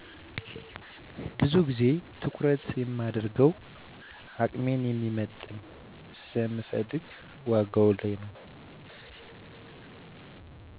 ብዙ ግዜ ትኩረት የማደርገው አቅሜን የሚመጥን ስለምፈልግ ዋጋ ላይ ነው።